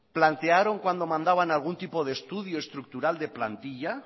plantearon cuando mandaban algún estudio estructural de plantilla